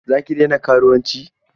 Za ki daina karuwanci?